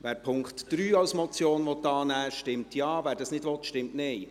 Wer den Punkt 3 als Motion annimmt, stimmt Ja, wer dies nicht will, stimmt Nein.